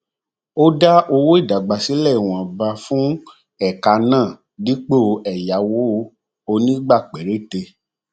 ó dá owó ìdásílẹ ìwọnba fún ẹka náà dípò ẹyáwó onígbà péréte